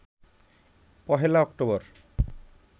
১ October